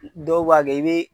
Dɔw b'a kɛ i bɛ.